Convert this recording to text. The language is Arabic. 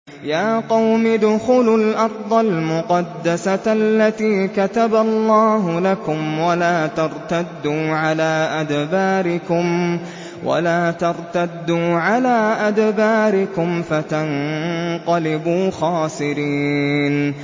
يَا قَوْمِ ادْخُلُوا الْأَرْضَ الْمُقَدَّسَةَ الَّتِي كَتَبَ اللَّهُ لَكُمْ وَلَا تَرْتَدُّوا عَلَىٰ أَدْبَارِكُمْ فَتَنقَلِبُوا خَاسِرِينَ